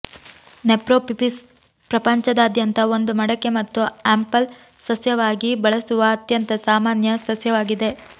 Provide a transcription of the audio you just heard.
ನೆಫ್ರೋಫಿಪಿಸ್ ಪ್ರಪಂಚದಾದ್ಯಂತ ಒಂದು ಮಡಕೆ ಮತ್ತು ಆಂಪೆಲ್ ಸಸ್ಯವಾಗಿ ಬಳಸುವ ಅತ್ಯಂತ ಸಾಮಾನ್ಯ ಸಸ್ಯವಾಗಿದೆ